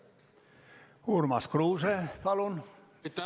Urmas Kruuse, palun!